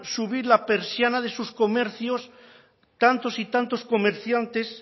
subir la persiana de sus comercios tantos y tantos comerciantes